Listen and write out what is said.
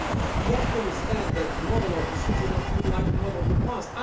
We have to understand that the model of the future will not be like the model of the past.